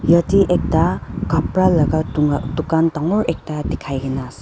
yatae ekta kapra laka dunka dukan dangor ekta dikhainaase.